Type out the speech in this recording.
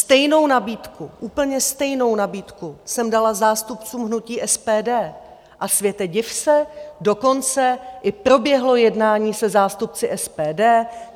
Stejnou nabídku - úplně stejnou nabídku - jsem dala zástupcům hnutí SPD, a světe div se, dokonce i proběhlo jednání se zástupci SPD.